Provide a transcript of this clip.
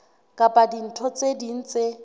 kapa dintho tse ding tse